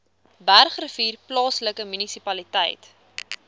bergrivier plaaslike munisipaliteit